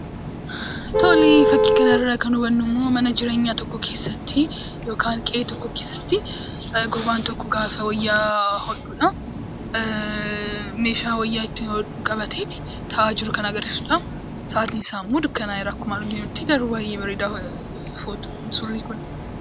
Fakkii kanarraa kan hubannu immoo mana jireenyaa tokko keessatti yookaan qe'ee tokko keessatti gaafa namni tokko wayyaa hodhudha. Meeshaa wayyaa ittiin hodhu qabateetu taa'aa jiru kan agarsiisudha. Sa'aatiin isaa immoo baay'ee dukkan'eera garuu baay'ee bareeda suuraan isaa.